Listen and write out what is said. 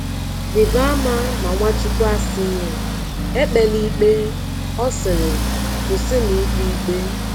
Rịba ama na Nwachukwu asịghị: “ Ekpela ikpe ”; ọ sịrị: “ Kwụsịnụ ikpe ikpe.